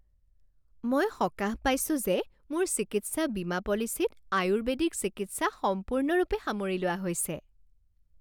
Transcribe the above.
মই সকাহ পাইছোঁ যে মোৰ চিকিৎসা বীমা পলিচীত আয়ুৰ্বেদিক চিকিৎসা সম্পূৰ্ণৰূপে সামৰি লোৱা হৈছে